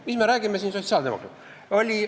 Mis me räägime siin sotsiaaldemokraatidest!